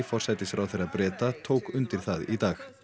forsætisráðherra Breta tók undir það í dag